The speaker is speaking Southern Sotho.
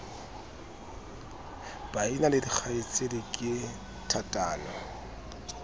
baena le dikgaitsedi ke thatano